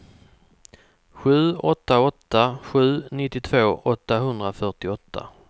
sju åtta åtta sju nittiotvå åttahundrafyrtioåtta